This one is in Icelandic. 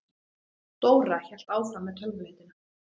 Dóra hélt áfram með tölvuleitina.